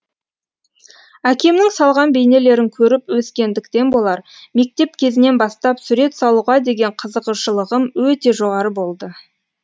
әкемнің салған бейнелерін көріп өскендіктен болар мектеп кезінен бастап сурет салуға деген қызығушылығым өте жоғары болды